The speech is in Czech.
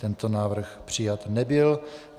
Tento návrh přijat nebyl.